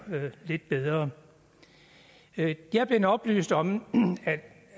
lidt bedre jeg er blevet oplyst om